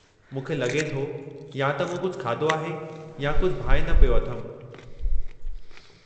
मूंखे लॻे थो या त मूं कुझु खाधो आहे या कुझु भांइ न पियो अथमि।